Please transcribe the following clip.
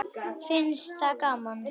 Finnst það gaman.